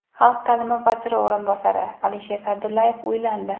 Xalq ta’limi vaziri o‘rinbosari Alisher Sa’dullayev uylandi.